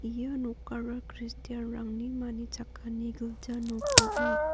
ia nokara kristian -rangni manichakani gilja nok ong·a.